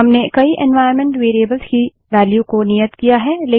हमने कई environment variables की वेल्यू को नियत किया है